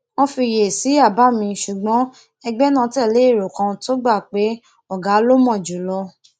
wón fiyèsí àbá mi ṣùgbọn ẹgbẹ náà tèlé èrò kan tó gbà pé ògá ló mò jùlọ